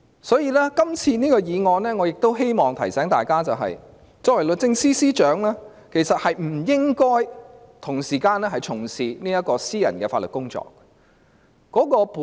我亦希望藉這項議案提醒大家，律政司司長其實不應同時從事私人的法律工作。